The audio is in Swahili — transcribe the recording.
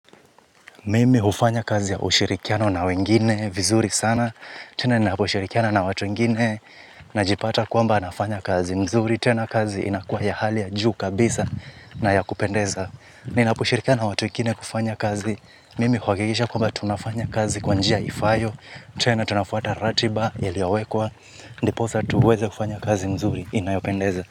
Mimi hufanya kazi ya ushirikiano na wengine, vizuri sana. Tena ni naposhirikiana na watu wengine. Najipata kwamba nafanya kazi mzuri. Tena kazi inakuwa ya hali ya juu kabisa na ya kupendeza. Ninaposhirikiana na watu wengine kufanya kazi. Mimi huakikisha kwamba tunafanya kazi kwa njia ifaayo. Tena tunafuata ratiba yaliyowekwa. Ndiposa tuweze kufanya kazi mzuri. Inayopendeza.